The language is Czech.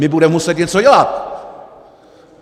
My budeme muset něco dělat!